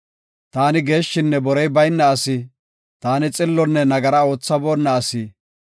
Taani geeshshinne borey bayna asi; taani xillonne nagara oothaboonna asi.